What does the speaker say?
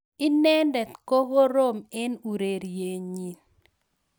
Inendet ko korom eng urerieny